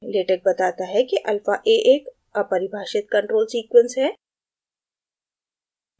latex बताता है कि alpha a एक अपरिभाषित control sequence है